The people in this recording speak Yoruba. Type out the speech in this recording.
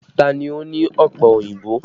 Ta ni ó ní ọpẹ òyìnbó?